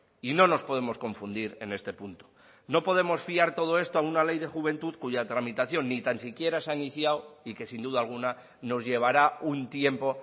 y no nos podemos confundir en este punto no podemos fiar todo esto a una ley de juventud cuya tramitación ni tan siquiera se ha iniciado y que sin duda alguna nos llevará un tiempo